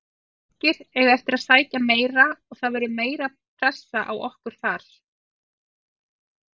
Tyrkirnir eiga eftir að sækja meira og það verður meiri pressa á okkur þar.